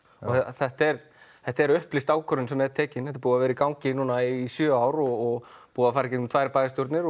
þetta er þetta er upplýst ákvörðun sem er tekin þetta er búið að vera í gangi núna í sjö ár og búið að fara í gegnum tvær bæjarstjórnir